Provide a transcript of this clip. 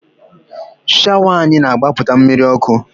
Shawa anyị na-agbapụta mmiri ọkụ